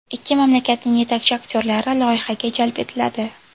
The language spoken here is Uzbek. Ikki mamlakatning yetakchi aktyorlari loyihaga jalb etiladi.